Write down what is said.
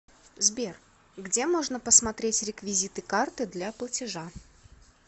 сбер где можно посмотреть реквизиты карты для платежа